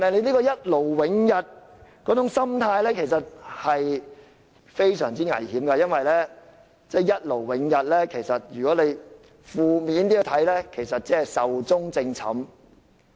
這種一勞永逸的心態其實非常危險，因為看得負面一點，一勞永逸其實是壽終正寢。